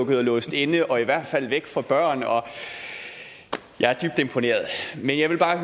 være låst inde og i hvert fald væk fra børn jeg er dybt imponeret men jeg vil bare